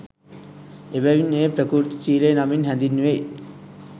එබැවින් එය ප්‍රකෘති ශීලය නමින් හැඳින්වෙයි.